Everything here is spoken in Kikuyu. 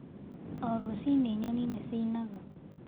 O rũcinĩ nyoni nĩ ciinaga.